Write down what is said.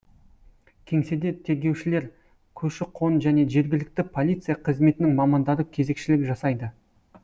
кеңседе тергеушілер көші қон және жергілікті полиция қызметінің мамандары кезекшілік жасайды